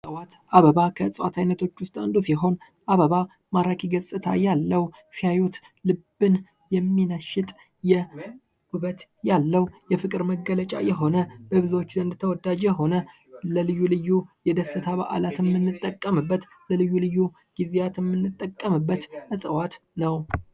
የእፅዋት አበባ ከእፅዋት አይነቶች ውስጥ አንዱ ሲሆን አበባ ማራኪ ገፅታ ያለው ሲያዩት ልብን የሚነሽጥ ውበት ያለው የፍቅር መገለጫ የሆነ በብዙዎች ዘንድ ተወዳጅነት የሆነ ለልዩ ልዩ የደስታ ባህሪያት ያለው ለልዩ ልዩ ግዚያት የምንጠቀምበት እፅዋት ነው።